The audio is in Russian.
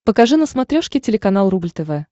покажи на смотрешке телеканал рубль тв